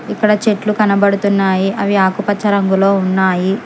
అక్కడ చెట్లు కనబడుతున్నాయి అవి ఆకుపచ్చ రంగులో ఉన్నాయి.